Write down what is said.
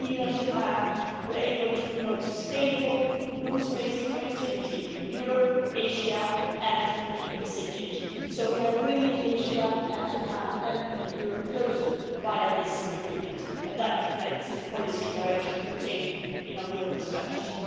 The EU and Japan have been able to promote sustainable, rules based connectivity in Europe, Asia and the Pacific, so we are bringing Asia and Europe closer via this agreement, and that reflects the policy direction contained in our global strategy.